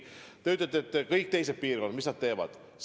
Te küsite, mida kõik teised piirkonnad teevad.